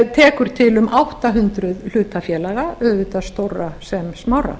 tekur til um átta hundruð hlutafélaga auðvitað stórra sem smárra